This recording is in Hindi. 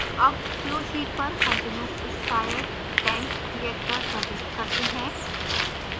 अब flowsheet पर continuous stirred tank reactor प्रविष्ट करते हैं